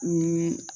Ni